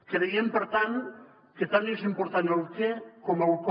creiem per tant que tant és important el què com el com